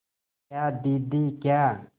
क्या दीदी क्या